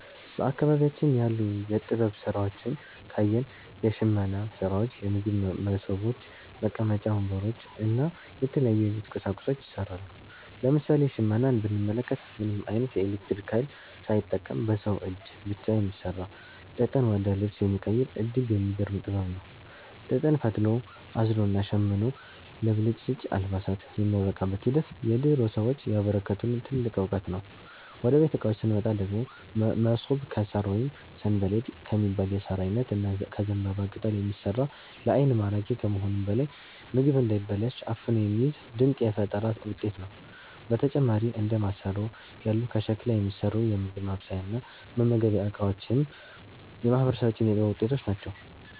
በአካባቢያችን ያሉ የጥበብ ሥራዎችን ካየን፣ የሽመና ሥራዎች፣ የምግብ መሶቦች፣ መቀመጫ ወንበሮች እና የተለያዩ የቤት ቁሳቁሶች ይሠራሉ። ለምሳሌ ሽመናን ብንመለከት፣ ምንም ዓይነት የኤሌክትሪክ ኃይል ሳይጠቀም በሰው እጅ ብቻ የሚሠራ፣ ጥጥን ወደ ልብስ የሚቀይር እጅግ የሚገርም ጥበብ ነው። ጥጥን ፈትሎ፣ አዝሎና ሸምኖ ለብልጭልጭ አልባሳት የሚያበቃበት ሂደት የድሮ ሰዎች ያበረከቱልን ትልቅ ዕውቀት ነው። ወደ ቤት ዕቃዎች ስንመጣ ደግሞ፣ መሶብ ከሣር ወይም 'ሰንበሌጥ' ከሚባል የሣር ዓይነት እና ከዘንባባ ቅጠል የሚሠራ፣ ለዓይን ማራኪ ከመሆኑም በላይ ምግብ እንዳይበላሽ አፍኖ የሚይዝ ድንቅ የፈጠራ ውጤት ነው። በተጨማሪም እንደ ማሰሮ ያሉ ከሸክላ የሚሠሩ የምግብ ማብሰያና መመገቢያ ዕቃዎችም የማህበረሰባችን የጥበብ ውጤቶች ናቸው።